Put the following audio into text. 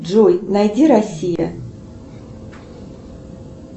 джой найди россия